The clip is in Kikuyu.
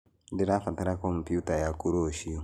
Nĩndĩrabatara komputa yaku rũciũ